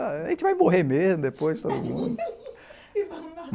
A gente vai morrer mesmo depois, todo mundo.